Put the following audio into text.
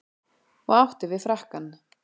Og átti við frakkann.